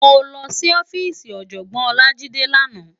Mó lòsí òfisí Òjògbòn Olajide làná